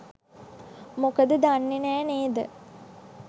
මොකද දන්නේ නැහැ නේද?